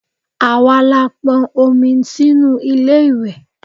Àwa la pọn omi sínú ilé ìwẹ̀.